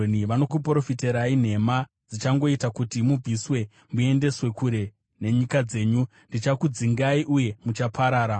Vanokuprofitirai nhema dzichangoita kuti mubviswe muendeswe kure nenyika dzenyu; ndichakudzingai uye muchaparara.